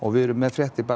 við erum með fréttir